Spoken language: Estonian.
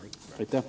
Aitäh!